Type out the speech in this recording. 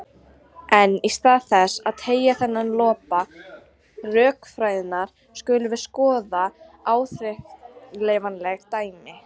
En í stað þess að teygja þennan lopa rökfræðinnar skulum við skoða áþreifanleg dæmi.